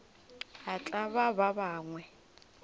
a tlaba ba bangwe o